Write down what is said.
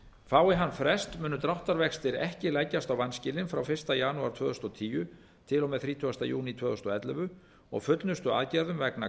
fái hann frest munu dráttarvextir ekki leggjast á vanskilin frá fyrsta janúar tvö þúsund og tíu til og með þrítugasta júní tvö þúsund og ellefu og fullnustuaðgerðum vegna